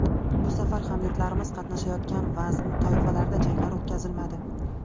Bu safar hamyurtlarimiz qatnashayotgan vazn toifalarida janglar o‘tkazilmadi.